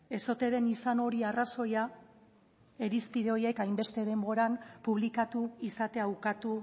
ez ote den izan hori arrazoia irizpide horiek hainbeste denboran publikatu izatea ukatu